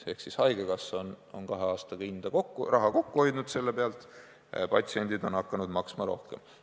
Ehk siis haigekassa on kahe aastaga selle pealt raha kokku hoidnud, patsiendid aga on hakanud maksma rohkem.